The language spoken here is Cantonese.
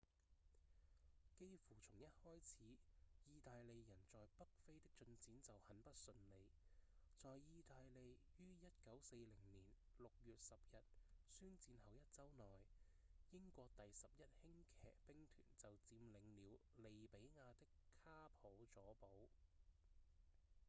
幾乎從一開始義大利人在北非的進展就很不順利在義大利於1940年6月10日宣戰後一週內英國第11輕騎兵團就佔領了利比亞的卡普佐堡